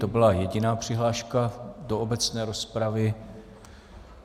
To byla jediná přihláška do obecné rozpravy.